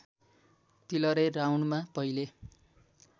तिलरे राउन्डमा पहिले